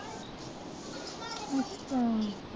ਹਾਂ